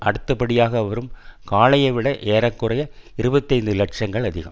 அடுத்தபடியாகவரும் காளையை விட ஏற குறைய இருபத்தி ஐந்து லட்சங்கள் அதிகம்